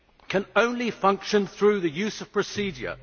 can only function through the use of procedure.